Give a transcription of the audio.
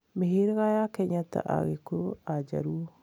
Mĩhĩrĩga ya Kenya ta Agĩkũyũ, Ajaruo,